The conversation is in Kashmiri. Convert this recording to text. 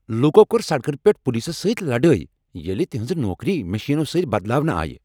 لوکو کٔر سڑکن پیٹھ پولیسس سٕتۍ لڑٲیۍ ییلہ تہنزٕ نوکریہٕ مشینو سۭتۍ بدلاونہٕ آیہ۔